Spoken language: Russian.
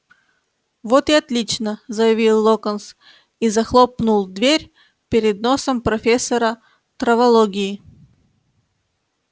вот и отлично заявил локонс и захлопнул дверь перед носом профессора травологии